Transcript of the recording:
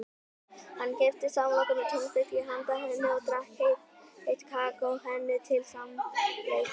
Hann keypti samloku með túnfiski handa henni og drakk heitt kakó henni til samlætis.